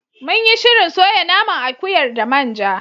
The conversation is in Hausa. Munyi shirin soya naman akuyar da manja.